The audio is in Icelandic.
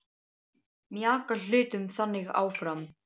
Mjaka hlutum þannig áfram.